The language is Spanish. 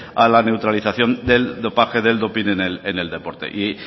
a la neutralización del dopaje del doping en el deporte